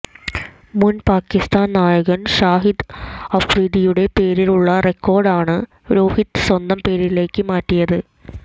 മുന് പാക്കിസ്ഥാന് നായകന് ഷാഹിദ് അഫ്രീദിയുടെ പേരിലുളള റെക്കോര്ഡാണ് രോഹിത് സ്വന്തം പേരിലേക്ക് മാറ്റിയത്